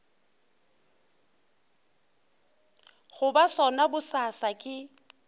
go ba sona bosasa ke